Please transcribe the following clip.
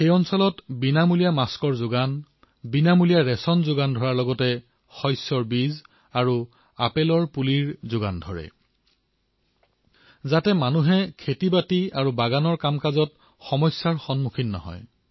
তেওঁ সমগ্ৰ এলেকাতে বিনামূলীয়া মাস্ক বিতৰণ কৰিছে বিনামূলীয়া খাদ্য বিতৰণ কৰিছে লগতে ৰাইজক ফচলসমূহৰ বীজ আৰু আপেলৰ পুলিও দিছে যাতে ৰাইজৰ খেতিবাতিত সমস্যা নহয়